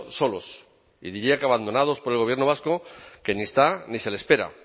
solos y diría que abandonados por el gobierno vasco que ni está ni se le espera